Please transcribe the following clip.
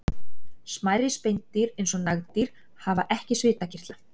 Smærri spendýr eins og nagdýr hafa ekki svitakirtla.